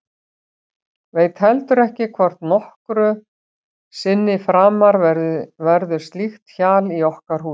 Veit heldur ekki hvort nokkru sinni framar verður slíkt hjal í okkar húsi.